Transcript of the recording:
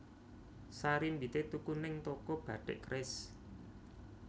Sarimbite tuku ning toko Batik Keris